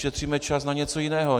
Ušetříme čas na něco jiného.